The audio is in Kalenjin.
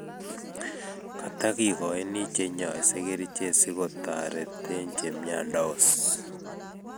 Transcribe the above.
katakigoini che nyaise kerichek si kotatretee chemiandos